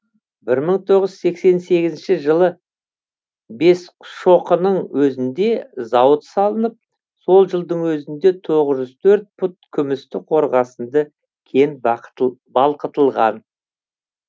бір мың тоғыз жүз сексен сегізінші жылы бесшоқының өзінде зауыт салынып сол жылдың өзінде тоғыз жүз төрт пұт күмісті қорғасынды кен балқытылған